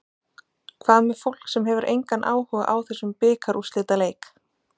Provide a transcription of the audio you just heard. Hvað með fólk sem hefur engan áhuga á þessum bikarúrslitaleik?